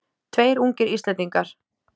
Tveir ungir Íslendingar